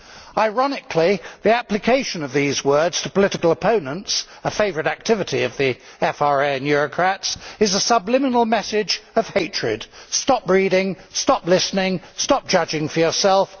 Ironically, the application of these words to political opponents a favourite activity of the FRA and Eurocrats is a subliminal message of hatred stop reading, stop listening, stop judging for yourself